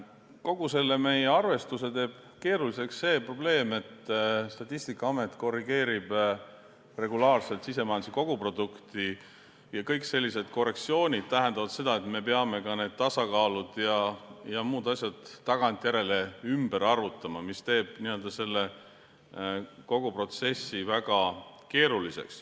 Kogu selle arvestuse teeb keeruliseks see probleem, et Statistikaamet korrigeerib regulaarselt sisemajanduse koguprodukti ja kõik sellised korrektsioonid tähendavad seda, et me peame ka tasakaalud ja muud asjad tagantjärele ümber arvutama.